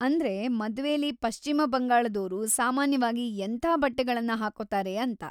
ಅಂದ್ರೆ, ಮದ್ವೆಲಿ ಪಶ್ಚಿಮ ಬಂಗಾಳದೋರು ಸಾಮಾನ್ಯವಾಗಿ ಎಂಥಾ ಬಟ್ಟೆಗಳನ್ನ ಹಾಕ್ಕೊತಾರೆ ಅಂತ.